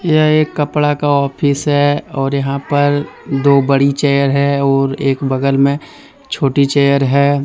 यह एक कपड़ा का ऑफिस है और यहां पर दो बड़ी चेयर है और एक बगल में छोटी चेयर है।